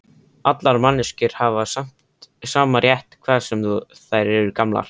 Allar manneskjur hafa sama rétt, hvað sem þær eru gamlar.